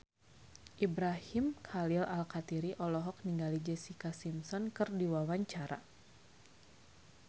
Ibrahim Khalil Alkatiri olohok ningali Jessica Simpson keur diwawancara